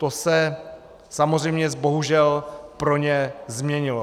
To se samozřejmě bohužel pro ně změnilo.